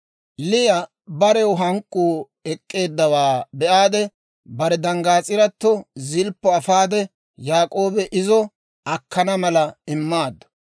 Liya barew yeluu ek'k'eeddawaa be'aade, bare danggaas'irato Zilppo afaade Yaak'oobi izo akkana mala immaaddu.